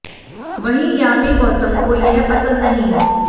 वहीं यामी गौतम को यह पसंद नही है